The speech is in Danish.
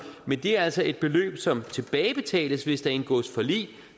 men det er altså et beløb som tilbagebetales hvis der indgås forlig